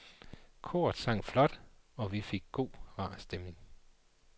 Koret sang flot og vi fik god, rar stemning.